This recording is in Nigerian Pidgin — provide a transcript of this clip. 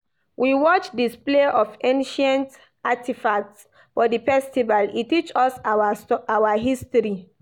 We watch display of ancient artifacts for di festival, e teach us our history.